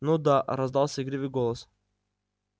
ну да раздался игривый голос